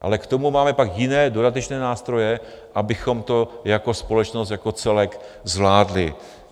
Ale k tomu máme pak jiné, dodatečné nástroje, abychom to jako společnost jako celek zvládli.